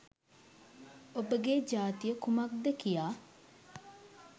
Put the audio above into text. ඔබගේ ජාතිය කුමක්ද කියා